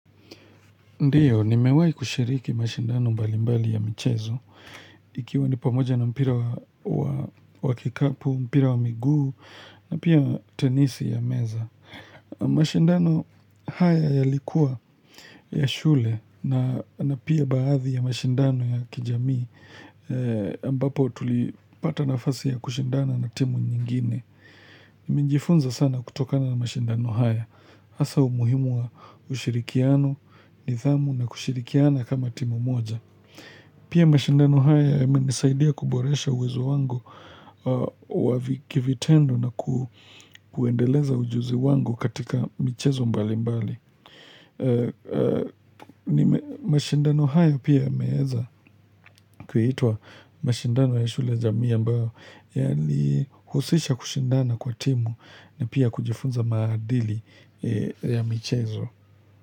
Ndiyo, nimewai kushiriki mashindano mbali mbali ya michezo Ikiwa ni pamoja na mpira wa kikapu, mpira wa miguu, na pia tenisi ya meza. Mashindano haya yalikua ya shule na pia baadhi ya mashindano ya kijami, ambapo tulipata nafasi ya kushindana na timu nyingine. Minjifunza sana kutokana na mashindano haya. Asa umuhimu wa ushirikiano, nithamu na kushirikiana kama timu moja. Pia mashindano haya yamenisaidia kuboresha uwezo wangu wa kivitendo na kuendeleza ujuzi wangu katika michezo mbali mbali. Mashindano haya pia yameeza kuhitwa mashindano ya shule jamii ambao Yalihusisha kushindana kwa timu na pia kujifunza maadili ya michezo.